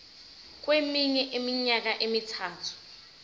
kweminye iminyaka emithathu